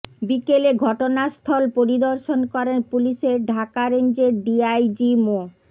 বিকেলে ঘটনাস্থল পরিদর্শন করেন পুলিশের ঢাকা রেঞ্জের ডিআইজি মো